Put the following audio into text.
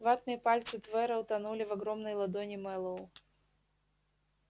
ватные пальцы твера утонули в огромной ладони мэллоу